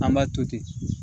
An b'a to ten